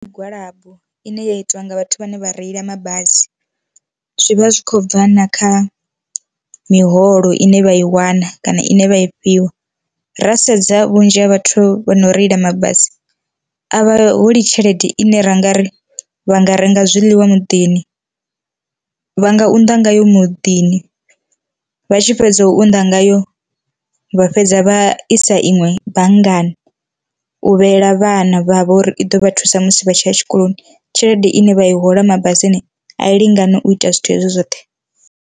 Migwalabo ine ya itiwa nga vhathu vhane vha reila mabasi, zwivha zwi khou bva na kha miholo ine vha i wana kana ine vha i fhiwa ra sedza vhunzhi ha vhathu vho no reila mabasi a vha holi tshelede ine ra nga ri vha nga renga zwiḽiwa muḓini, vha nga unḓa ngayo muḓini vha tshi fhedza u unḓa ngayo vha fhedza vha isa iṅwe banngani, u vheyela vhana vhavho uri i ḓo vha thusa musi vha tshiya tshikoloni, tshelede ine vha i hola mabasini a i lingani u ita zwithu hezwo zwoṱhe.